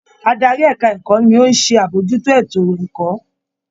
Adarí ẹ̀ka - ẹ̀kọ́ ni ó ṣe ń àbójútó ètò -ẹ̀kọ́